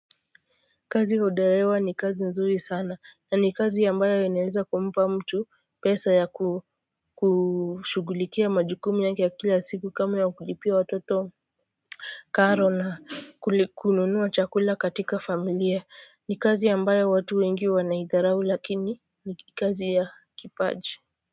Kazi ya udereva ni kazi nzuri sana na ni kazi ambayo inaweza kumpa mtu pesa ya kushugulikia majukumu yake ya kila siku kama ya kulipia watoto karo na kununua chakula katika familia. Ni kazi ambayo watu wengi wanaidharau lakini ni kazi ya kipaji.